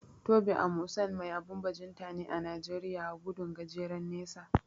Tobi Amusan mai abun bajinta ne a Najeriya a gudun gajeren nesa.